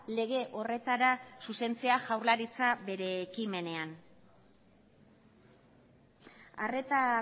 lege horretara zuzentzea jaurlaritza bere ekimenean arreta